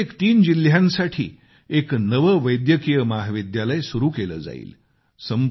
प्रत्येक तीन जिल्ह्यांसाठी एक नवे वैद्यकिय महाविद्यालय सुरु केले जाईल